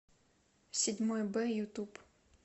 седьмой бэ ютуб